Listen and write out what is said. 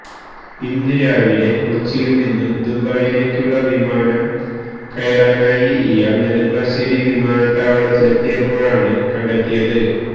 ഇന്ന് രാവിലെ കൊച്ചിയില്നിന്നു ദുബയിലേക്കുള്ള വിമാനം കയറാനായി ഇയാള് നെടുമ്പാശ്ശേരി വിമാനത്താവളത്തിലെത്തിയപ്പോഴാണ് കണ്ടെത്തിയത്